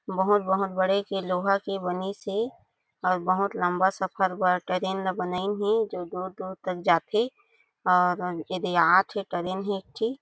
बहोत - बहोत बड़े के लोहा के बनिस हे अउ बहोत लम्बा सफर बर ट्रैन बनायिन हे जो दूर-दूर तक जाथे और ऐदे आथे ट्रैन हे एक ठी--